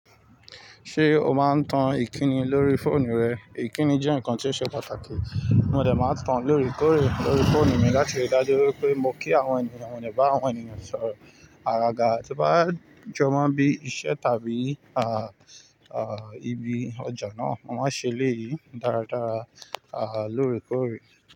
Ṣé o máa ń tan ìkíni lórí fóònù rẹ? Ìkíni jẹ́ ǹkan tí ó ṣe pàtàkì. Mo dẹ̀ máa ń tan lórekore, lórí fóònù mi láti ríi dájú wípé mo kí àwọn ènìyàn, mo de bá àwọn ènìyàn sọ̀rọ̀. Àgaga tí ó bá jọmọ́ mo bí iṣẹ́ tàbí, ah, ah, ibi ọjà náà, mo máa ṣe léyì dáradára, ah, lórekore.